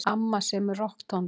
Amma semur rokktónlist.